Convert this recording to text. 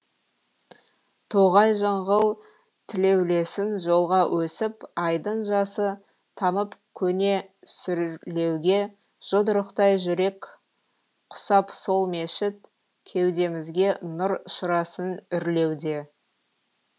тоғай жыңғыл тілеулесің жолға өсіп айдың жасы тамып көне сүрлеуге жұдырықтай жүрек құсап сол мешіт кеудемізге нұр шырасын үрлеуде